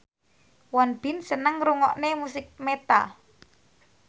Won Bin seneng ngrungokne musik metal